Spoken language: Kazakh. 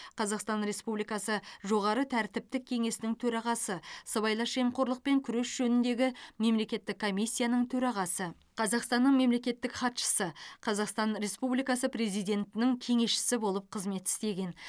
қазақстан республикасы жоғары тәртіптік кеңесінің төрағасы сыбайлас жемқорлықпен күрес жөніндегі мемлекеттік комиссияның төрағасы қазақстанның мемлекеттік хатшысы қазақстан республикасы президентінің кеңесшісі болып қызмет істеген